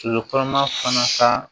So kɔnɔma fana ka